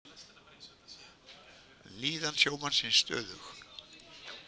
Líðan sjómannsins stöðug